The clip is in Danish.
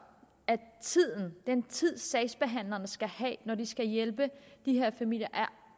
at den tid sagsbehandlerne skal have når de skal hjælpe de her familier er